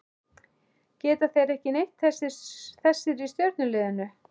Geta þeir ekki neitt þessir í stjörnuliðinu?